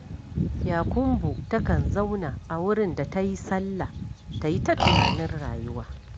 Yakumbo takan zauna a wurin da ta yi sallah, ta yi ta tunanin rayuwa